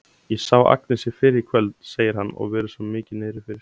Ég sá Agnesi fyrr í kvöld, segir hann og virðist mikið niðri fyrir.